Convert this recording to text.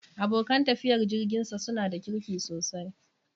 Abokan tafiyar jirginsa su na da kirki sosai.